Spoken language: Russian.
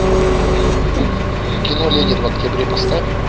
кино ленин в октябре поставь